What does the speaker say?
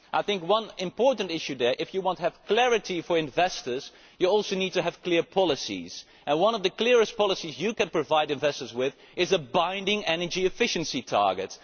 I think there is one important issue here if you want to have clarity for investors, you also need to have clear policies, and one of the clearest policies you can provide investors with is a binding energy efficiency target.